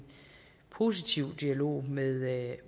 positiv dialog med